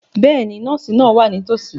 Bẹ́ẹ̀ni, nọ́ọ̀sì náà wà nítòsí.